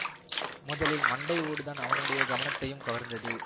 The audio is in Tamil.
முதலில் மண்டை ஓடுதான் அவனுடைய கவனத்தையும் கவர்ந்தது